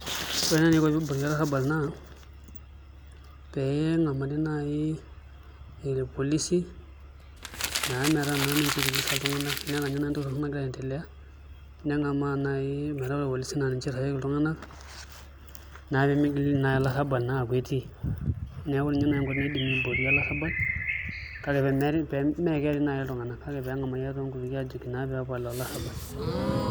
Ore eniko pee iboori olarabal naa pee engamari nai ilpolisi naa metaa naa ninche iltulisa iltunganak, enetaa ninye nai entoki nagira aiendelea nengama nai metaa ilpolisi naa niche oitasheiki iltunganak naa piimigil naa olarabal naa aaku etii neeku ninye nai enkoitoi naidimi aiborie olarabal kake meeperi nai iltunganak kake peengamari nai toonkutukie aajoki peepal olarabal